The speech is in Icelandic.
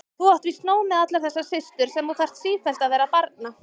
Þú átt víst nóg með allar þessar systur sem þú þarf sífellt vera að barna.